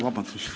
Vabandust!